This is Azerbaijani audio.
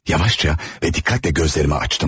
Yavaşca və diqqətlə gözlərimi açdım.